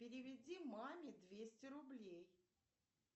переведи маме двести рублей